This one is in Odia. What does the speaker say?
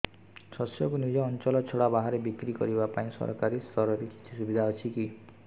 ଶସ୍ୟକୁ ନିଜ ଅଞ୍ଚଳ ଛଡା ବାହାରେ ବିକ୍ରି କରିବା ପାଇଁ ସରକାରୀ ସ୍ତରରେ କିଛି ସୁବିଧା ଅଛି କି